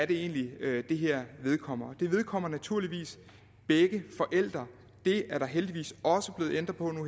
egentlig er det her vedkommer det vedkommer naturligvis begge forældre det er der heldigvis også blevet ændret på nu